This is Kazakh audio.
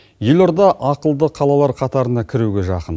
елорда ақылды қалалар қатарына кіруге жақын